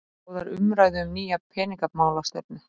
Boðar umræðu um nýja peningamálastefnu